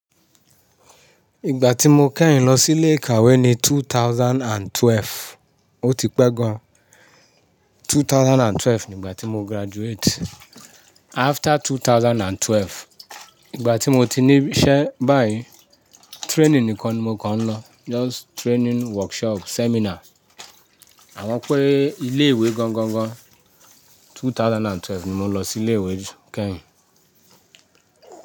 Ìgbà tí mo kẹ́yìn lọ sí ilé ìkàwé ni 2012. Ó ti pẹ́ gan. 2012 ni ìgbà tí mo graduate. After 2012, ìgbà tí mo ti ní iṣẹ́ báyìí, training nìkan ni mo kan ń lọ. Just training workshop seminar. Àwọn pé ilé ìwé gangan gan, 2012 ni mo lọ sí ilé ìwé kẹ́yìn.